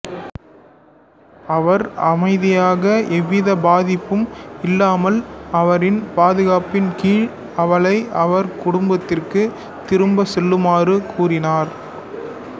அவர் அமைதியாக எவ்வித பாதிப்பும் இல்லாமல் அவரின் பாதுகாப்பின் கீழ் அவளை அவர் குடும்பத்திற்கு திரும்ப செல்லுமாறு கூறினார்